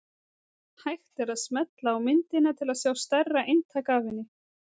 Hægt er að smella á myndina til að sjá stærra eintak af henni.